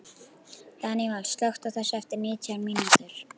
Daníval, slökktu á þessu eftir nítján mínútur.